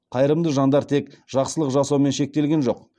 қайырымды жандар тек жақсылық жасаумен шектелген жоқ